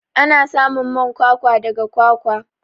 Ana samun man kwakwa daga kwakwa.